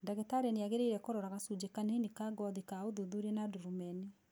Ndagĩtarĩ nĩ angĩrĩire kũrora gacũjĩ kanini ka ngothi ka ũthuthuria na ndurumeni.